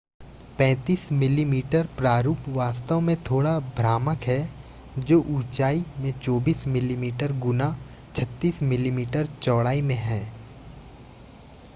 35 मिमी प्रारूप वास्तव में थोड़ा भ्रामक है जो ऊंचाई में 24 मिमी गुना 36 मिमी चौड़ाई में है